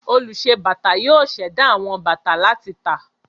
Olùṣe-bàtà yóò ṣẹ̀dá àwọn bàtà láti tà.